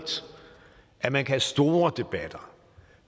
at man kan have store debatter